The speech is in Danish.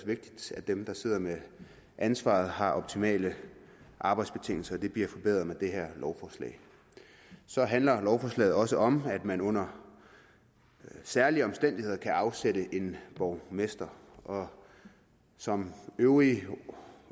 vigtigt at dem der sidder med ansvaret har optimale arbejdsbetingelser det bliver forbedret med det her lovforslag så handler lovforslaget også om at man under særlige omstændigheder skal kunne afsætte en borgmester og som øvrige